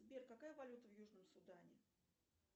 сбер какая валюта в южном судане